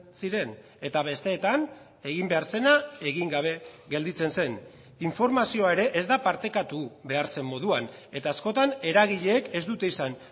ziren eta besteetan egin behar zena egin gabe gelditzen zen informazioa ere ez da partekatu behar zen moduan eta askotan eragileek ez dute izan